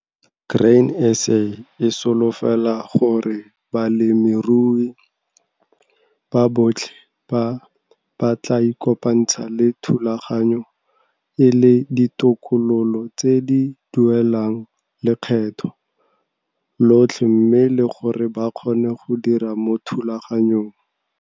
Grain SA e solofela gore balemirui ba botlhe ba, ba tlaa ikopantsha le thulaganyo e le ditokololo tse di duelang lekgetho lotlhe mme le gore ba kgone go dira mo thulaganyong.